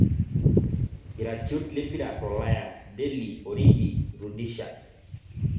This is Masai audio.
Iratiot lempira tolaya; Deli, Origi, Rudisha